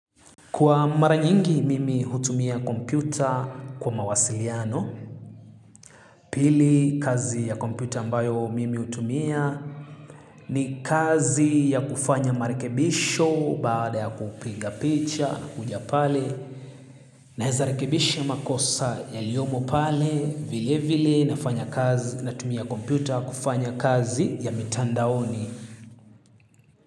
Kwa mara nyingi mimi hutumia kompyuta kwa mawasiliano, pili kazi ya kompyuta ambayo mimi hutumia ni kazi ya kufanya marekebisho baada ya kupiga picha huja pale naeza rekebisha makosa yaliyomo pale vile vile natumia kompyuta kufanya kazi ya mitandaoni.